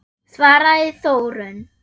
svaraði Þórunn.